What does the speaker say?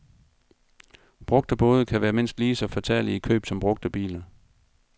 Brugte både kan være mindst lige så fatale i køb som brugte biler.